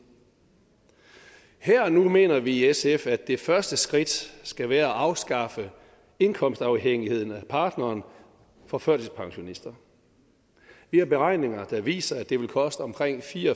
her og nu mener vi i sf at det første skridt skal være at afskaffe indkomstafhængigheden af partneren for førtidspensionister vi har beregninger der viser at det vil koste omkring fire